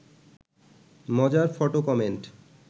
মজার photo comment